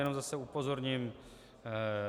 Jenom zase upozorním.